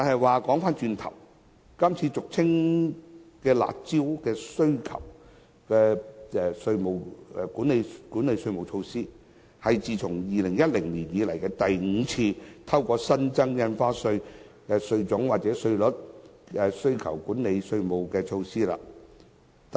話說回頭，今次俗稱"辣招"的需求管理措施，是政府自2010年以來第五次透過增設不同類別的印花稅或上調稅率，以遏抑樓價。